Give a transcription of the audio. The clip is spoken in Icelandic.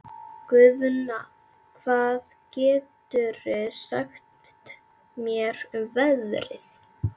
Guðna, hvað geturðu sagt mér um veðrið?